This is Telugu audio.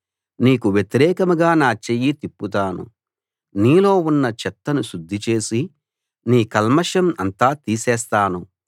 నీకు వ్యతిరేకంగా నా చెయ్యి తిప్పుతాను నీలో ఉన్న చెత్తను శుద్ధిచేసి నీ కల్మషం అంతా తీసేస్తాను